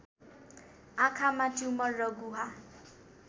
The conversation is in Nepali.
आँखामा ट्युमर र गुहा